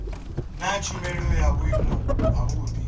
naa tshumelo ya vhuimo havhudi